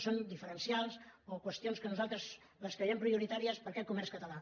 són diferencials o qüestions que nosaltres creiem prioritàries per a aquest comerç català